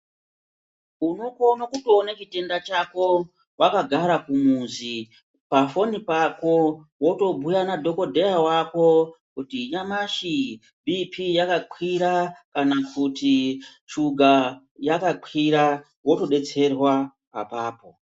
Unokona kuona chitenda chako wakagara kumuzi pafoni pako wotobhuya nadhokodheya wako kuti nyamashi BP yakakwira kana kuti shuga yakakwira wotodetserwa apapo.